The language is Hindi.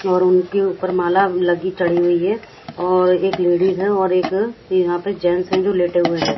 और उनके ऊपर माला लगी चढ़ी हुई है और एक लेडीज हैं और एक यहां पे जेंट्स हैं जो लेटे हुए हैं।